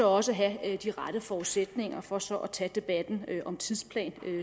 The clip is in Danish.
også have de rette forudsætninger for så at tage debatten om tidsplan